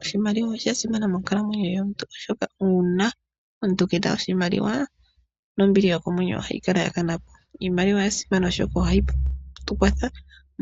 Oshimaliwa osha simana monkalamwenyo yomuntu kehe, oshoka omuntu ngele keena oshimaliwa nombili yokomwenyo ohayi kala yakanapo. Iimaliwa oya simana oshoka ohayi tu kwatha